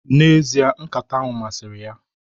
N' ezie, nkata ahu masiri ya